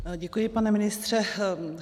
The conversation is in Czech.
Děkuji, pane ministře.